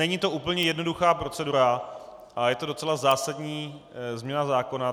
Není to úplně jednoduchá procedura a je to docela zásadní změna zákona.